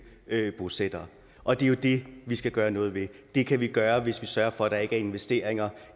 bosættere og det er jo det vi skal gøre noget ved det kan vi gøre hvis vi sørger for at der ikke er investeringer